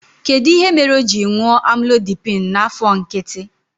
Kedụ ihe mere o ji ṅụọ Amlodipịn n'afọ nkịtị?